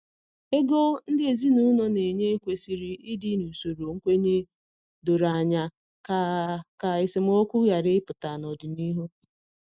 Ego ndị ezinụlọ na enye kwesịrị ịdị n’usoro nkwenye doro anya, ka ka esemokwu ghara ịpụta n’ọdịnihu